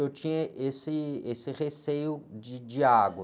Eu tinha esse, esse receio de, de água.